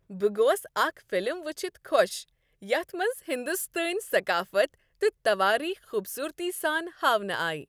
بہٕ گوس اکھ فلم وچھتھ خوش یتھ منٛز ہندوستٲنۍ ثقافت تہٕ توٲریخ خوبصورتی سان ہاونہٕ آیہ۔